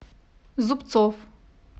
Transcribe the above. зубцов